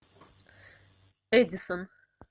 эдисон